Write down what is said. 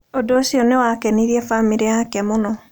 Ũndũ ũcio nĩ wakenirie bamĩrĩ yake mũno.